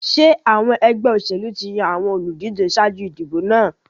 Ṣé àwọn ẹgbẹ́ òṣèlú ti yan àwọn olùdíje ṣáájú ìdìbò náà?